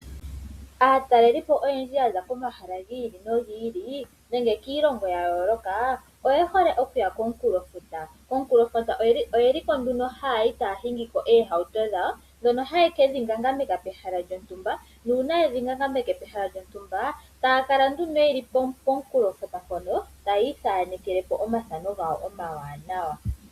Aatalelipo oyendji yaza komahala gi ili nogi ili nenge kiilongo yayooloka oye hole okuya komunkulofuta. Konkulofuta oyeliko nduno haayi taya shingiko oohauto dhawo dhono hayekedhi ngangamitha pehala lyontumba nuuna yedhi ngangameke pehala lyontumba taya kala nduno yeli poonkulofuta mpono taa iithanekelepo omathano gawo omawanawa.